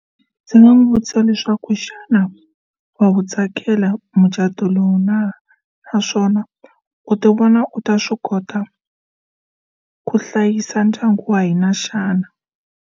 Ndzi nga n'wi vutisa leswaku xana wa wu tsakela mucato lowu na naswona u ti vona u ta swi kota ku hlayisa ndyangu wa hina xana?